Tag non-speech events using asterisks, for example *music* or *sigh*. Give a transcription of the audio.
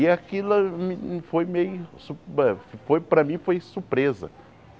E aquilo foi meio... *unintelligible* foi para mim foi surpresa.